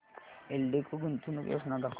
एल्डेको गुंतवणूक योजना दाखव